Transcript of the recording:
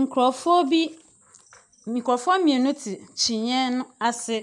Nkorɔfoɔ bi, nkorɔfoɔ mmienu te kyiniiɛ ase.